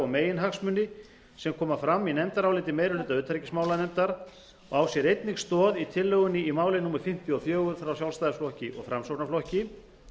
og meginhagsmuni sem koma fram í nefndaráliti meiri hluta utanríkismálanefndar og á sér einnig stoð í tillögunni í máli númer fimmtíu og fjórir frá sjálfstæðisflokki og framsóknarflokki